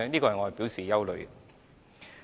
我對此表示憂慮。